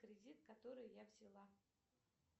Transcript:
кредит который я взяла